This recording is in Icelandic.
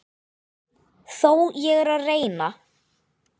Þó er ég að reyna!